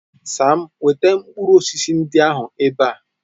Sam, weta mkpụrụ osisi ndị ahụ ebe a.